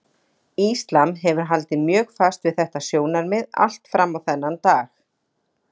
Íslam hefur haldið mjög fast við þetta sjónarmið allt fram á þennan dag.